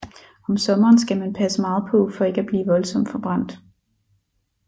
Om sommeren skal man passe meget på for ikke at blive voldsomt forbrændt